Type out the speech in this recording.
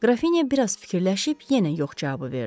Qrafinya bir az fikirləşib yenə yox cavabı verdi.